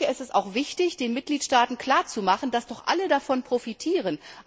Es ist auch wichtig, den Mitgliedstaaten klar zu machen, dass doch alle davon profitieren.